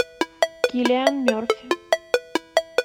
киллиан мерфи